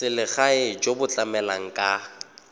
selegae jo bo tlamelang ka